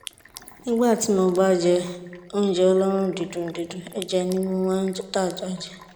nígbà tí mo bá jẹ oúnjẹ olóòórùn dídùn dídùn ẹ̀jẹ̀ ni mo máa ń dà jáde